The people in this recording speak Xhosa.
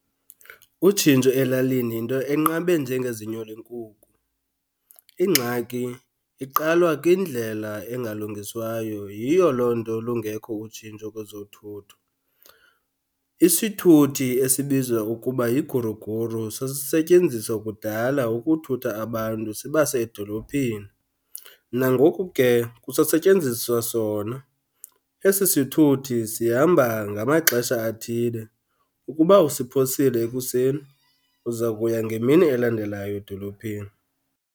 Utshintsho elalini yinto enqabe njengezinyo lenkuku. Ingxaki iqalwa kwindlela engalungiswayo, yiyo loo nto lungekho utshintsho kwezothutho. Isithuthi esibizwa ukuba yiguruguru sasisetyenziswa kudala ukuthutha abantu sibase edolophini, nangoku ke kusasetyenziswa sona. Esi sithuthi sihamba ngamaxesha athile, ukuba usiphosile ekuseni uza kuya ngemini elandelayo edolophini.